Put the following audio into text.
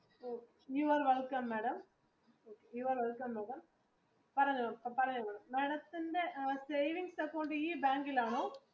You are welcome, madam പറഞ്ഞോളൂ പറഞ്ഞോളൂ madam ത്തിന്റെ savings അക്കൗണ്ട് ഈ ബാങ്കിൽ ആണോ?